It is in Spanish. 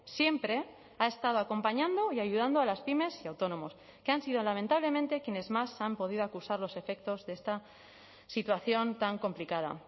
siempre ha estado acompañando y ayudando a las pymes y autónomos que han sido lamentablemente quienes más han podido acusar los efectos de esta situación tan complicada